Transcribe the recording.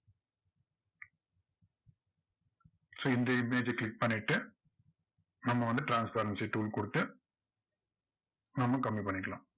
so இந்த image அ click பண்ணிட்டு நம்ம வந்து transparency tool கொடுத்து நம்ம கம்மி பண்ணிக்கலாம்.